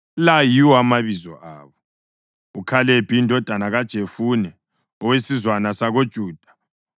La yiwo amabizo abo: uKhalebi indodana kaJefune, owesizwana sakoJuda;